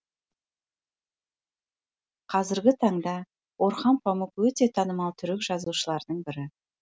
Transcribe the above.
қазіргі таңда орхан памұқ өте танымал түрік жазушыларының бірі